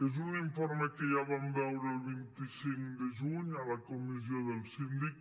és un informe que ja vam veure el vint cinc de juny a la comissió del síndic